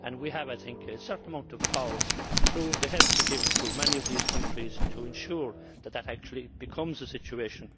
We have a certain amount of power, through the help we give to many of these countries, to ensure that that actually becomes the situation.